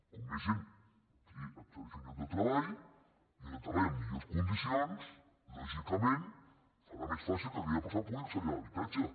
com més gent accedeixi a un lloc de treball i un lloc de treball amb millors condicions lògicament serà més fàcil que aquella persona pugui accedir a l’habitatge